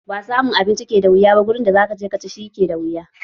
Ba samun abinci ke da wuya ba wurin da zaka je ka ci shi, shi ke da wuya.